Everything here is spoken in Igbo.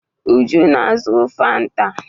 Uju na-azụ Fanta.